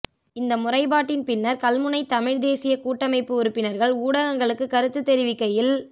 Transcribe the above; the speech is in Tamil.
இந்த முறைப்பாட்டின் பின்னர் கல்முனை தமிழ் தேசிய கூட்டமைப்பு உறுப்பினர்கள் ஊடகங்களுக்கு கருத்து தெரிவிக்கையில்